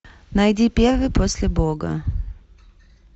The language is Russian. найди первый после бога